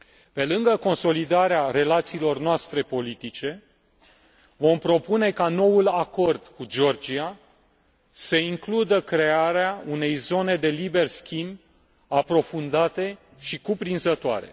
Pe lângă consolidarea relațiilor noastre politice, vom propune ca noul acord cu Georgia să includă crearea unei zone de liber schimb aprofundate și cuprinzătoare.